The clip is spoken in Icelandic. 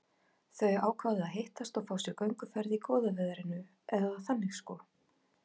Þau ákváðu að hittast og fá sér gönguferð í góða veðrinu, eða þannig sko.